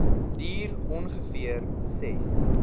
duur ongeveer ses